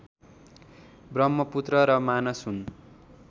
ब्रह्मपुत्र र मानस हुन्